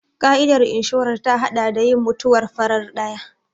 Ƙa'idar inshorar ta haɗa da yin mutuwar farar ɗaya.